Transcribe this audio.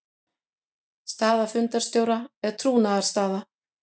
Staða fundarstjóra er trúnaðarstaða.